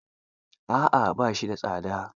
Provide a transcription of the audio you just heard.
A'a ba shi da tsada.